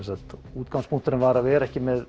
útgangspunkturinn var að vera ekki með